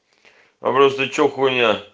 вопрос ты че хуйня